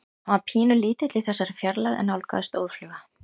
Hann var pínulítill í þessari fjarlægð en nálgaðist óðfluga.